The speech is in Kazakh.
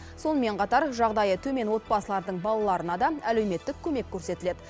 сонымен қатар жағдайы төмен отбасылардың балаларына да әлеуметтік көмек көрсетіледі